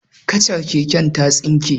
Kacar keken ta tsinke.